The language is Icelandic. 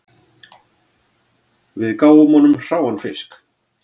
Við gáfum honum hráan fisk